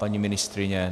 Paní ministryně?